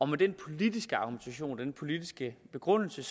med den politiske argumentation den politiske begrundelse